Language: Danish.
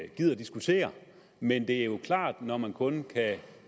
gider diskutere men det er jo klart at når man kun kan